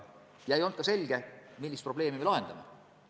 Ja ei ole ka selge, millist probleemi me lahendame.